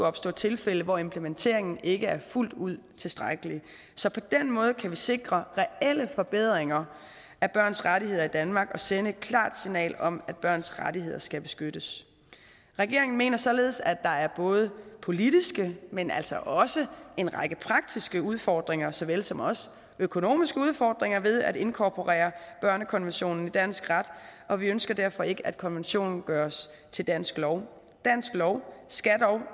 opstå tilfælde hvor implementeringen ikke er fuldt ud tilstrækkelig så på den måde kan vi sikre reelle forbedringer af børns rettigheder her i danmark og sende et klart signal om at børns rettigheder skal beskyttes regeringen mener således at der er både politiske men altså også en række praktiske udfordringer såvel som også økonomiske udfordringer ved at inkorporere børnekonventionen i dansk ret og vi ønsker derfor ikke at konventionen gøres til dansk lov dansk lov skal dog